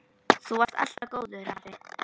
Þú varst alltaf góður afi.